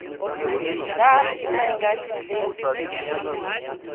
ḓa u renga tshitentsi tshine